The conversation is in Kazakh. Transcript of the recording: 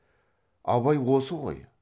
абай осы ғой